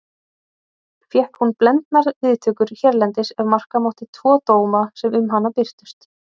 Fékk hún blendnar viðtökur hérlendis ef marka mátti tvo dóma sem um hana birtust.